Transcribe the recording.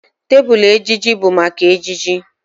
Tebụl ejiji bụ maka ejiji